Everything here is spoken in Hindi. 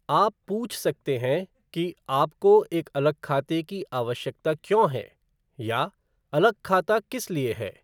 आप पूछ सकते हैं कि 'आपको एक अलग खाते की आवश्यकता क्यों है?' या 'अलग खाता किस लिए है?'